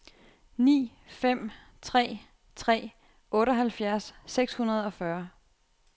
ni fem tre tre otteoghalvfjerds seks hundrede og fyrre